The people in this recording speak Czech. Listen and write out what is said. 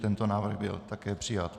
Tento návrh byl také přijat.